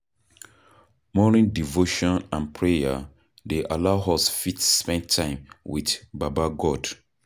Morning devotion and prayer dey allow us fit spend time with baba God